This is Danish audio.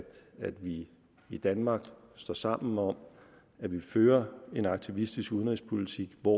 vi i danmark står sammen om at vi fører en aktivistisk udenrigspolitik hvor